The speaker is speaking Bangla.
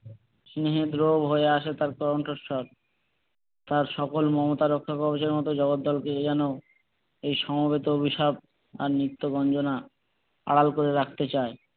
স্নেহে হয়ে ওঠে তার কণ্ঠস্বর তার সকল মমতা রক্ষা কবজের মতো জগদ্দলকে যেন এই সমবেত অভিশাপ আর নিত্য গঞ্জনা আড়াল করে রাখতে চাই।